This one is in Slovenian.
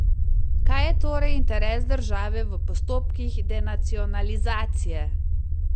Kaj je torej interes države v postopkih denacionalizacije?